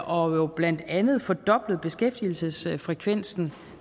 og jo blandt andet fordoblet beskæftigelsesfrekvensen